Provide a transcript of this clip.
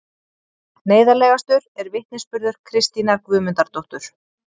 Neyðarlegastur er vitnisburður Kristínar Guðmundardóttur